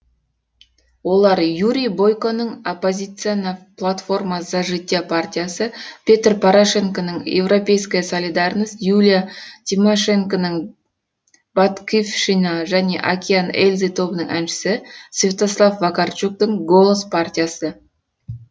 олар юрий бойконың опозиційна платформа за життя партиясы петр порошенконың европейська солідарність юлия тимошенконың батьківщина және океан эльзы тобының әншісі святослав вакарчуктың голос партиясы